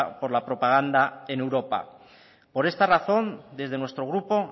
por la propaganda en europa por esta razón desde nuestro grupo